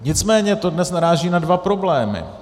Nicméně to dnes naráží na dva problémy.